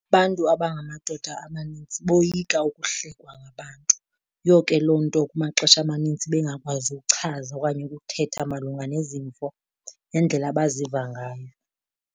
Abantu abangamadoda amanintsi boyika ukuhlekwa ngabantu, yiyo ke loo nto kumaxesha amaninzi bengakwazi ukuchaza okanye ukuthetha malunga nezimvo nendlela abaziva ngayo.